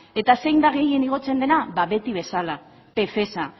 eta zein da gehien igotzen dena ba beti bezala pfeza